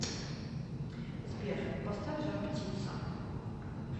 сбер поставь жар птица